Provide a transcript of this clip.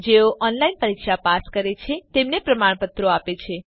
જેઓ ઓનલાઇન પરીક્ષા પાસ કરે છે તેમને પ્રમાણપત્ર આપે છે